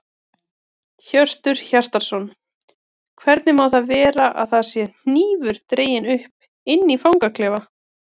Hjörtur Hjartarson: Hvernig má það vera að það sé hnífur dreginn upp inni í fangaklefa?